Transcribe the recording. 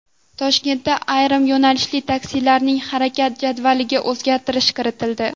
Toshkentda ayrim yo‘nalishli taksilarning harakat jadvaliga o‘zgartirish kiritildi.